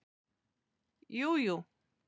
Jú, jú